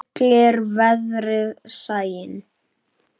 Tryllir veðrið sæinn.